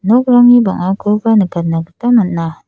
nokrangni bang·akoba nikatna gita man·a.